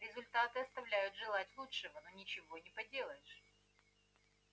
результаты оставляют желать лучшего но ничего не поделаешь